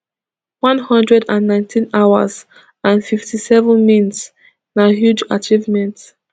one hundred and nineteen hours and fifty-seven mins na huge achievement